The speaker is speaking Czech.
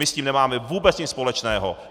My s tím nemáme vůbec nic společného.